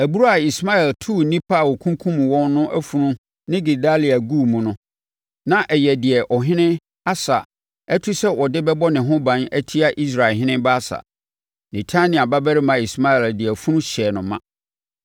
Abura a Ismael too nnipa a ɔkunkumm wɔn no afunu ne Gedalia guu mu no, na ɛyɛ deɛ ɔhene Asa atu sɛ ɔde bɛbɔ ne ho ban atia Israelhene Baasa. Netania babarima Ismael de afunu hyɛɛ no ma.